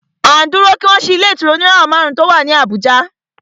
À ń dúró kí wọ́n ṣí ilé ìtura oníràwọ̀ márùn ùn tí o wá ní Abùjá.